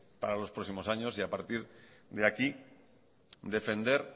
para los próximos años y a partir de aquí defender